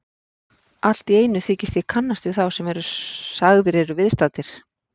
Alltíeinu þykist ég kannast við þá sem sagðir eru viðstaddir.